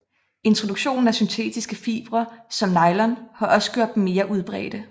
Introduktionen af syntetiske fibre som nylon har også gjort dem mere udbredte